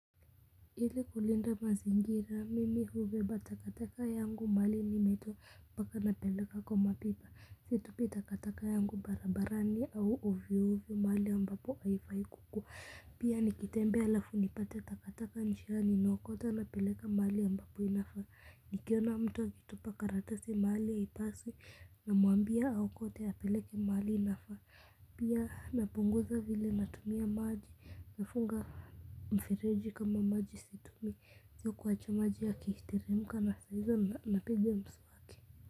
Ili kulinda mazingira mimi hubeba takataka yangu mahali nimetoa mpaka napeleka kwa mapipa, situpi takataka yangu barabarani au ovyo ovyo mahali ambapo haifai kukua pia nikitembea halafu nipate takataka njiani naokota napeleka mahali ambapo inafaa nikiona mtu akitupa karatasi mahali haipaswi namwambia aokote apeleke mahali inayofaa, pia napunguza vile natumia maji nafunga mifereji kama maji si tumi, sio kuacha maji yakiteremka na saa hizo napiga mswaki.